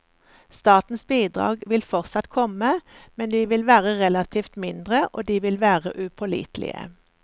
Statens bidrag vil fortsatt komme, men de vil være relativt mindre, og de vil være upålitelige.